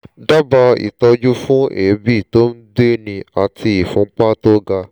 dábàá ìtọ́jú fún èébì tó ń gbéni àti ìfúnpá tó ga